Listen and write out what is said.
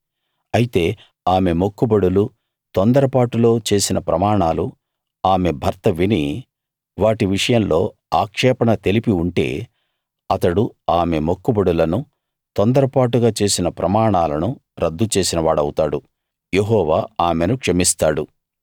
అయితే ఆమె మొక్కుబడులు తొందరపాటులో చేసిన ప్రమాణాలు ఆమె భర్త విని వాటి విషయంలో ఆక్షేపణ తెలిపి ఉంటే అతడు ఆమె మొక్కుబడులను తొందరపాటుగా చేసిన ప్రమాణాలను రద్దు చేసిన వాడవుతాడు యెహోవా ఆమెను క్షమిస్తాడు